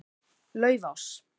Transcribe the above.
Laufás